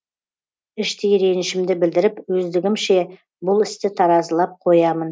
іштей ренішімді білдіріп өздігімше бұл істі таразылап қоямын